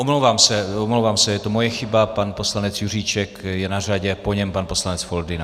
Omlouvám se, je to moje chyba, pan poslanec Juříček je na řadě, po něm pan poslanec Foldyna.